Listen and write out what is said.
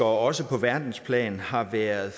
også på verdensplan har været